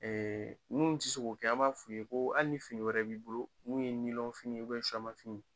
n ti se k'o kɛ an b'a f'i ye, ko hali ni fini wɛrɛ b'i bolo, mun ye ye fini